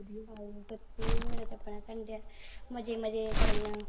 ਸੱਚੀ ਮੇਰਾ ਤਾਂ ਆਪਣਾ ਕਰ ਰਿਹਾ। ਮਜੇ-ਮਜੇ ਕਰਨ ਨੂੰ।